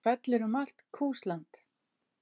Hún fellur um allt Kúsland.